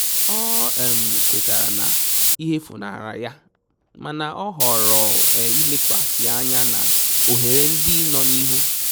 O um kwetara na ihe funahara ya mana a họọrọ ilekwasi anya na ohere ndi no n'ihu